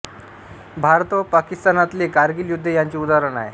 भारत व पाकिस्तानातले कारगिल युद्ध याचे उदाहरण आहे